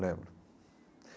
Lembro.